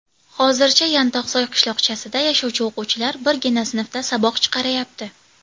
Hozircha Yantoqsoy qishloqchasida yashovchi o‘quvchilar birgina sinfda saboq chiqarayapti.